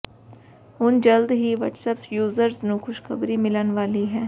ਹੁਣ ਜਲਦ ਹੀ ਵਟਸਅੱਪ ਯੂਜਰਜ਼ ਨੂੰ ਖੁਸ਼ਖ਼ਬਰੀ ਮਿਲਣ ਵਾਲੀ ਹੈ